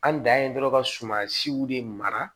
An dan ye dɔrɔn ka suman siw de mara